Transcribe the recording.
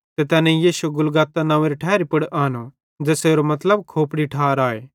ते तैनेईं यीशु गुलगुता नंव्वेरी ठैरी पुड़ आनो ज़ेसेरो मतलब खोपड़ारी ठार आए